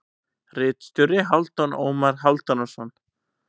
Ritstjóri: Hálfdan Ómar Hálfdanarson.